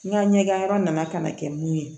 N ka ɲɛgɛn yɔrɔ nana ka na kɛ mun ye